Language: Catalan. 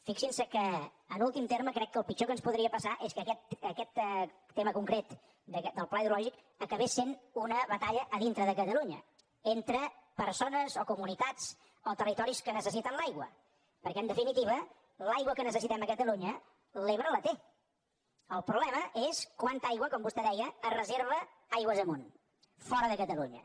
fixin se que en últim terme crec que el pitjor que ens podria passar és que aquest tema concret del pla hidrològic acabés sent una batalla a dintre de catalunya entre persones o comunitats o territoris que necessiten l’aigua perquè en definitiva l’aigua que necessitem a catalunya l’ebre la té el problema és quanta aigua com vostè deia es reserva aigües amunt fora de catalunya